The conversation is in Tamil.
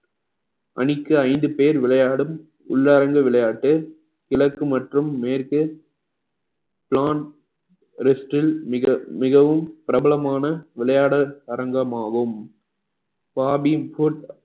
அணிக்கு ஐந்து பேர் விளையாடும் உள்ளரங்கு விளையாட்டு கிழக்கு மற்றும் மேற்கு plan rest ல் மிக~ மிகவும் பிரபலமான விளையாட அரங்கம் ஆகும்